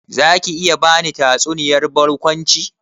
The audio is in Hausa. Zaki iya bani tatsuniyar barkwanci?